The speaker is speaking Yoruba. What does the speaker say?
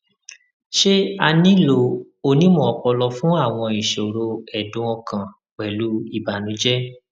ṣé a nílò onímọ ọpọlọ fún àwọn ìṣòro ẹdùn ọkàn pẹlú ìbànújẹ